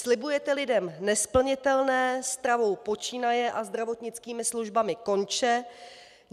Slibujete lidem nesplnitelné, stravou počínaje a zdravotnickými službami konče.